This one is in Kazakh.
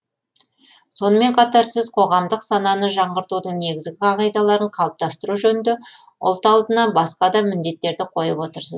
сонымен қатар сіз қоғамдық сананы жаңғыртудың негізгі қағидаларын қалыптастыру жөнінде ұлт алдына басқа да міндеттерді қойып отырсыз